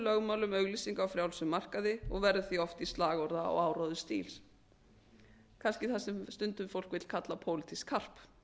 lögmálum auglýsinga á frjálsum markaði og verður því oft í slagorða og áróðursstíl kannski það sem fólk vill kalla pólitískt karp